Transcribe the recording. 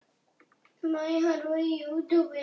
Meðal þeirra